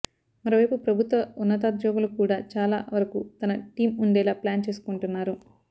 మరోవైపు ప్రభుత్వ ఉన్నతోద్యోగులు కూడా చాలా వరకు తన టీం ఉండేలా ప్లాన్ చేసుకుంటున్నారు